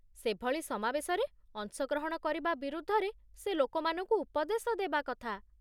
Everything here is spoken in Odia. ସେଭଳି ସମାବେଶରେ ଅଂଶଗ୍ରହଣ କରିବା ବିରୁଦ୍ଧରେ ସେ ଲୋକମାନଙ୍କୁ ଉପଦେଶ ଦେବା କଥା